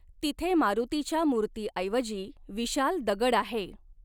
तिथे मारुतीच्या मूर्तिऐवजी विशाल दगड आहे.